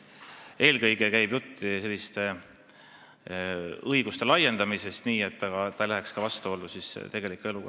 Eelkõige käib jutt selliste õiguste laiendamisest nii, et see ei läheks vastuollu tegeliku eluga.